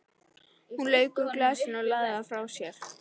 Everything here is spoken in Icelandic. Hún lauk úr glasinu og lagði það frá sér.